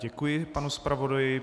Děkuji panu zpravodaji.